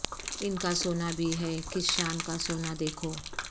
ان کا سونا بھی ہے کس شان کا سونا دیکھو